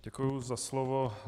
Děkuji za slovo.